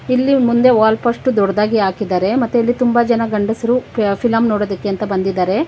ಇಲ್ಲಿ ಮುಂದೆ wall post ದೊಡ್ಡದಾಗಿ ಹಾಕಿದ್ದಾರೆ ಮತ್ತೆ ಇಲ್ಲಿ ತುಂಬ ಜನ ಗಂಡಸರು ಫಿಲಂ ನೋಡೋದಿಕ್ಕೆ ಅಂತ ಬಂದಿದ್ದಾರೆ.